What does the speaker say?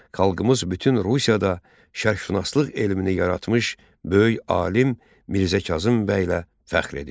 Xalqımız bütün Rusiyada şərqşünaslıq elmini yaratmış böyük alim Mirzə Kazım bəylə fəxr edir.